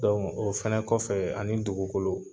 o fana kɔfɛ ani dugukolo